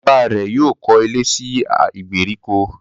Bàbá rẹ̀ yóò kọ́ ilé sí ìgbèríko